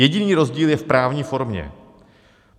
Jediný rozdíl je v právní formě.